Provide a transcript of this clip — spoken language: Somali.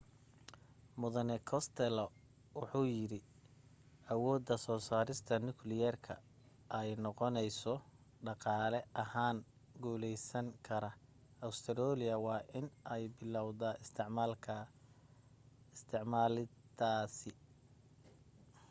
mudane costello wuxuu yiri awooda soo saarida nukliyeerka ay noqoneyso dhaqaale ahaan guuleysan kara australia waa in ay bilowda isticmaalidiisa